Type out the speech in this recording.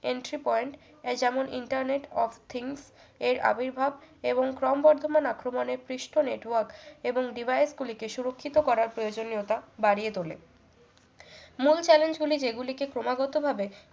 entry point এই যেমন internet of things এর আবির্ভাব এবং ক্রমবর্ধমান আক্রমণের পৃষ্ঠ network এবং device গুলিকে সুরক্ষিত করার প্রয়োজনীয়তা বাড়িয়ে তোলে মূল challenge গুলি যেগুলিকে ক্রমাগত ভাবে